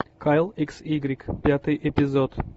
кайл икс игрек пятый эпизод